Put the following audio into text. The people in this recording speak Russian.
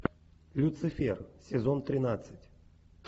люцифер сезон тринадцать